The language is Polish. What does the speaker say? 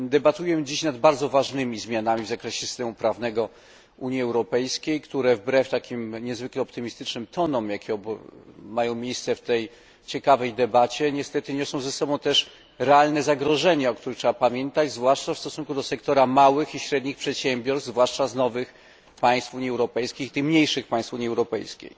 Debatujemy dziś nad bardzo ważnymi zmianami w zakresie systemu prawnego Unii Europejskiej, które wbrew takim niezwykle optymistycznym tonom, jakie mają miejsce w tej ciekawej debacie, niestety niosą ze sobą też realne zagrożenia, o których trzeba pamiętać, zwłaszcza w stosunku do sektora małych i średnich przedsiębiorstw, zwłaszcza z nowych państw Unii Europejskiej tych mniejszych państw Unii Europejskiej.